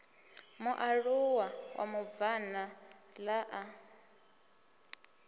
mualuwa wa mubvann ḓa a